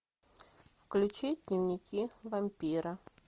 включи дневники вампира